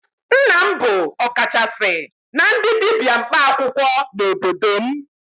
Nna m bụ ọkachasị na ndị dibia mkpaakwụkwọ n'obodo m